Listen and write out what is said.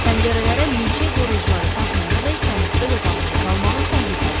Pəncərələrə milçək qoruyucuları taxmayana dək sənin öz otağında qalmağın təhlükəlidir.